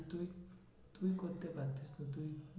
তুই করতে পারতিস তো তুই